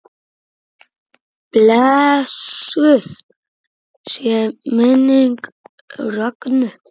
Blessuð sé minning Rögnu.